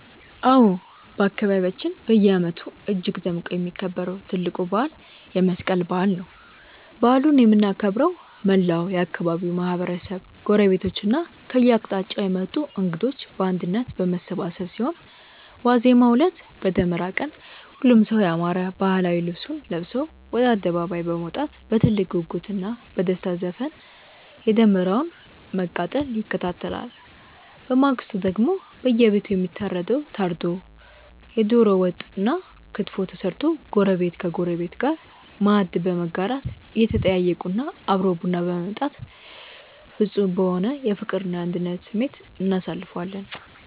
አዎ፣ በአካባቢያችን በየዓመቱ እጅግ ደምቆ የሚከበረው ትልቁ በዓል የመስቀል በዓል ነው። በዓሉን የምናከብረው መላው የአካባቢው ማህበረሰብ፣ ጎረቤቶችና ከየአቅጣጫው የመጡ እንግዶች በአንድነት በመሰባሰብ ሲሆን፣ ዋዜማው ዕለት (በደመራ ቀን) ሁሉም ሰው ያማረ ባህላዊ ልብሱን ለብሶ ወደ አደባባይ በመውጣት በትልቅ ጉጉትና በደስታ ዘፈን የደመራውን መቃጠል ይከታተላል። በማግስቱ ደግሞ በየቤቱ የሚታረደው ታርዶ፣ የደሮ ወጥና ክትፎ ተሰርቶ ጎረቤት ከጎረቤት ጋር ማዕድ በመጋራት፣ እየተጠያየቁና አብሮ ቡና በመጠጣት ፍጹም በሆነ የፍቅርና የአንድነት ስሜት እናሳልፈዋለን።